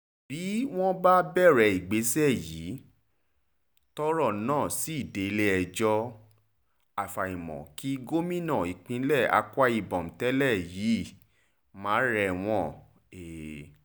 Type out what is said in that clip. bí wọ́n bá bẹ̀rẹ̀ ìgbésẹ̀ yìí tọ́rọ̀ náà sì délé-ẹjọ́ àfàìmọ̀ kí gómìnà ìpínlẹ̀ akwa-ibom tẹ́lẹ̀ yìí ma rẹ̀wọ̀n he